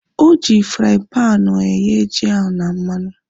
Oji fraaịn panu ahu eghe ji ahu na mmanụ